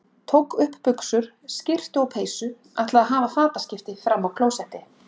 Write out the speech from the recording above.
Tók upp buxur, skyrtu og peysu, ætlaði að hafa fataskipti frammi á klósetti.